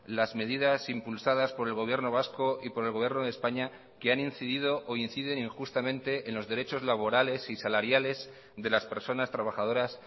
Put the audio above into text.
las medidas impulsadas por el gobierno vasco y por el gobierno de españa que han incidido o inciden injustamente en los derechos laborales y salariales de las personas trabajadoras